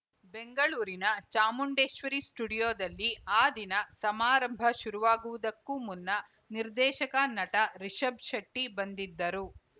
ಬೆಂಗಳೂರಿನ ಚಾಮುಂಡೇಶ್ವರಿ ಸ್ಟುಡಿಯೋದಲ್ಲಿ ಆ ದಿನ ಸಮಾರಂಭ ಶುರುವಾಗುವುದಕ್ಕೂ ಮುನ್ನ ನಿರ್ದೇಶಕ ನಟ ರಿಷಬ್‌ ಶೆಟ್ಟಿಬಂದಿದ್ದರು